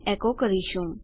એકો કરીશું